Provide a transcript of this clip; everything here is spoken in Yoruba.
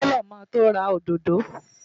Taylor máa to ra òdòdó.